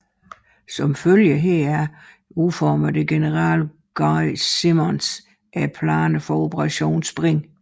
Som følge heraf udformede general Guy Simonds planerne for Operation Spring